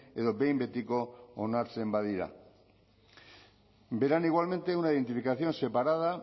edo behin betiko onartzean badira verán igualmente una identificación separada